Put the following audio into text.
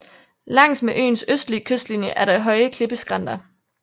Langs med øens østlige kystlinje er der høje klippeskrænter